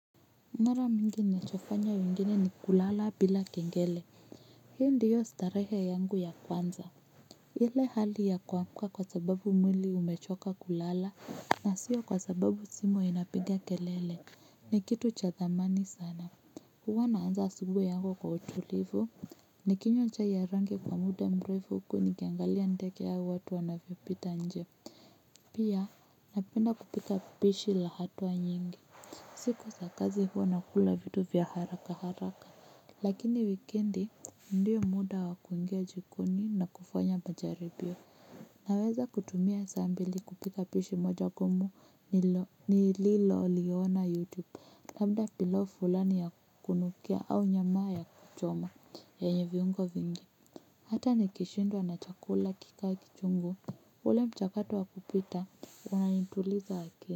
Mara mingi ninachofanya nyingine ni kulala bila kengele. Hii ndiyo starehe yangu ya kwanza. Ile hali ya kuamka kwa sababu mwili umechoka kulala. Na siyo kwa sababu simu inapiga kelele. Ni kitu cha thamani sana. Huwa naanza siku yangu kwa utulivu. Nikinywa chai haraka kwa muda mrefu huku nikiangalia ndege au watu wanavyopita nje. Pia napenda kupika pishi la hatua nyingi. Siku za kazi huwa nakula vitu vya haraka haraka. Huwa naanza asubuhi yangu kwa utulivu. Naweza kutumia saa mbili kupika pishi moja ngumu nililoliona youtube labda pilau fulani ya kunukia au nyamaa ya kuchoma yenye viungo vingi. Hata nikishindwa na chakula kikae kichungo ule mchakatu wa kupita unanituliza akili.